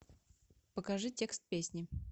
покажи текст песни